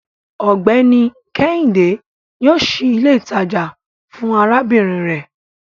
Ọgbẹni Kehinde yoo ṣii ile itaja fun arabinrin rẹ